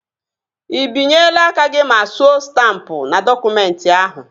Ị binyela aka gị ma suo stampụ n'dọkụmentị ahụ?